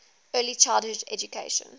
early childhood education